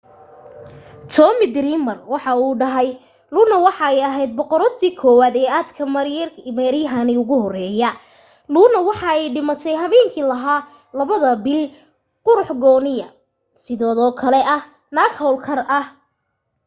tommy dreamer waxa uu dhahay luna waxa ay aheyd boqoradii koowaad ee aadka maareyaheygi ugu horeye luna waxa ay dhimate habeenki lahaa labada bil qurux gooniyo sideedo kale ah naag hawl kar ah